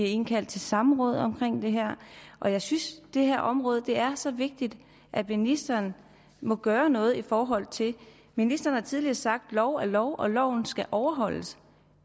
indkaldt til samråd omkring det her og jeg synes det her område er så vigtigt at ministeren må gøre noget i forhold til det ministeren har tidligere sagt at lov er lov og at loven skal overholdes